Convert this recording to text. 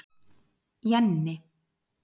Jenni